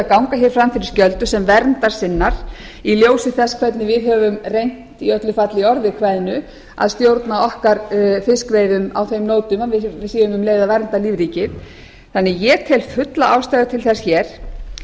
ganga hér fram fyrir skjöldu sem verndarsinnar í ljósi þess hvernig við höfum reynt í öllu falli í orði kveðnu að stjórna okkar fiskveiðum á þeim nótum að við séum um leið að vernda lífríkið ég tel því fulla ástæðu til þess hér